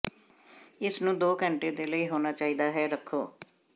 ਇਸ ਨੂੰ ਦੋ ਘੰਟੇ ਦੇ ਲਈ ਹੋਣਾ ਚਾਹੀਦਾ ਹੈ ਰੱਖੋ